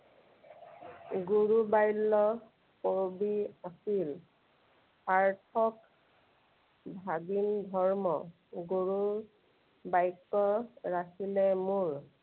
গুৰুবাল্য কবি আছিল। সাৰ্থক ভাগিন ধৰ্ম। গুৰুবাক্য ৰাখিলে মোৰ।